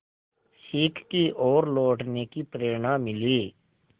सीख की ओर लौटने की प्रेरणा मिली